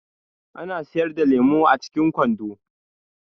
Ana siyar da lemu a cikin kwando.